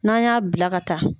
N'an y'a bila ka taa